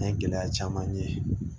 An ye gɛlɛya caman ye